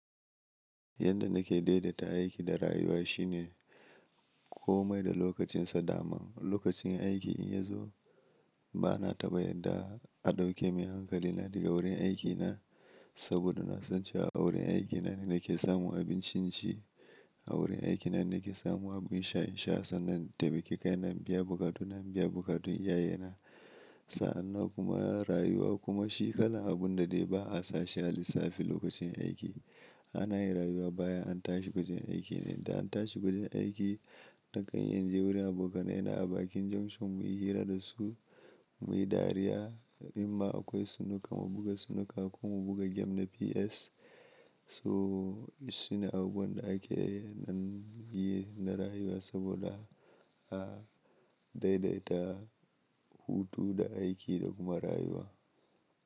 Yadda nake daidaita aiki da rayuwa shine komai da lokacinsa. Daman lokacin aiki in ya zo bana taɓa yadda a ɗauke min hankalina daga wurin aiki na saboda na san cewa wurin aikina ne ke samun abincinci, a wurin aikina ne ke samun abun sha in sha, sannan taimaki kai na in biya buƙatun na in biya buƙatun iyayena. Sa'an nan kuma rayuwa kuma shi kalan abun da dai ba a sa shi a lissafi lokacin aiki. Ana yin rayuwa bayan an tashi diga yin aiki ne. Da an tashi gurin aiki, na kan iya inje wurin aboka nai na a bakin junction mu yi hira da su, mu yi dariya, imma akoi sunuka mu buga sunuka ku mu buga game na PS. So shine abubuwan da ake yi nan yi na rayuwa saboda ba daidaita hutu da aiki da kuma rayuwa.